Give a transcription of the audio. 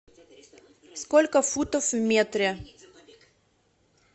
сколько футов в метре